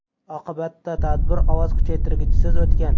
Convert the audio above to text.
Oqibatda tadbir ovoz kuchaytirgichsiz o‘tgan.